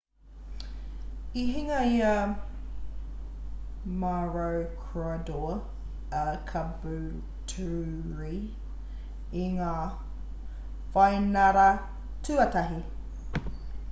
i hinga i a maroochydore a caboolture i ngā whainara tuatahi